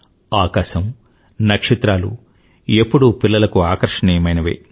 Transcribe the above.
ఆకాశం నక్షత్రాలూ ఎప్పుడూ పిలల్లకు ఆకర్షణీయమైనవే